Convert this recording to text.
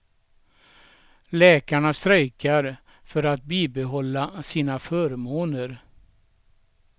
Läkarna strejkar för att bibehålla sina förmåner.